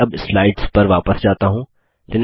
मैं अब स्लाइड्स पर वापस जाता हूँ